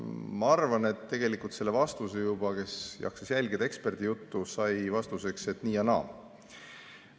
Ma arvan, et see, kes jaksas jälgida eksperdi juttu, sai juba vastuseks, et nii ja naa.